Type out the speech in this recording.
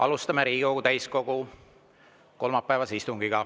Alustame Riigikogu täiskogu kolmapäevast istungit.